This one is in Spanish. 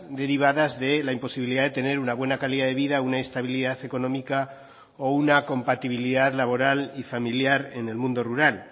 derivadas de la imposibilidad de tener una buena calidad de vida una estabilidad económica o una compatibilidad laboral y familiar en el mundo rural